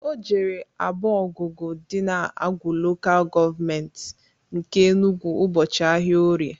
O jere Agbogugu dị na Awgu Lokal Gọọmenti nke Enugwu ụbọchị ahịa orie